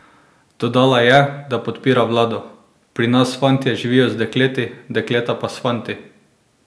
Dodala je, da podpira vlado: "Pri nas fantje živijo z dekleti, dekleta pa s fanti.